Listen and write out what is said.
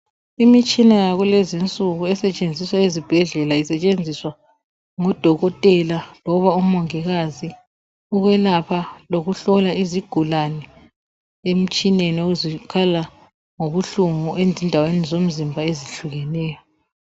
Imitshina yakulezi insuku esetshenziswa ezibhedlela isetshenziswa ngudokotela loba umongikazi ukwelapha lokuhlola izigulani emtshineni ukuze kukhanye lapho okulobuhlungu ezindaweni zomzimba ezehlukeneyo